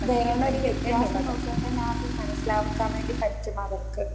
വരണ ഒരു വ്യത്യാസം നോക്കിയാൽ തന്നെ ആർക്കും മനസ്സിലാക്കാൻ വേണ്ടി പറ്റും അവർക്ക്